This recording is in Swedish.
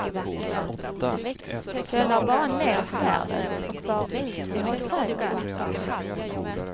Så jag lade bara ned svärdet och bar ut honom i trädgården.